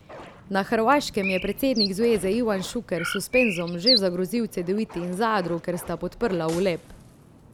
Na Hrvaškem je predsednik zveze Ivan Šuker s suspenzom že zagrozil Cedeviti in Zadru, ker sta podprla Uleb.